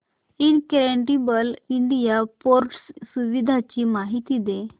incredible India portal सुविधांची माहिती दे